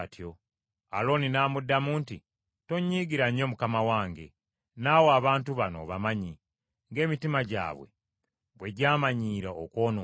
Alooni n’amuddamu nti, “Tonnyiigira nnyo, mukama wange, naawe abantu bano obamanyi, ng’emitima gyabwe bwe gyamanyiira okwonoona.